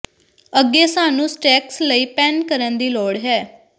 ਅੱਗੇ ਸਾਨੂੰ ਸਟੇਕਸ ਲਈ ਪੈਨ ਕਰਨ ਦੀ ਲੋੜ ਹੈ